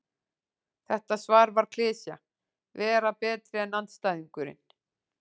Þetta svar var klisja: Vera betri en andstæðingurinn.